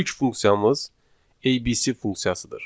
İlk funksiyamız ABC funksiyasıdır.